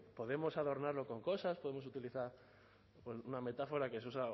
podemos adornarlo con cosas podemos utilizar una metáfora que un